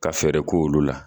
Ka fɛɛrɛ k'olu la.